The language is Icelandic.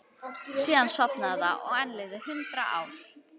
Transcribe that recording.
Síðan sofnaði það og enn liðu hundrað ár.